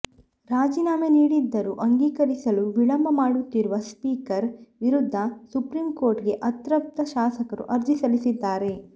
ರಾಜೀನಾಮೆ ನೀಡಿದ್ದರೂ ಅಂಗೀಕರಿಸಲು ವಿಳಂಬ ಮಾಡುತ್ತಿರುವ ಸ್ಪೀಕರ್ ವಿರುದ್ಧ ಸುಪ್ರೀಂಕೋರ್ಟ್ ಗೆ ಅತೃಪ್ತ ಶಾಸಕರು ಅರ್ಜಿ ಸಲ್ಲಿಸಿದ್ದಾರೆ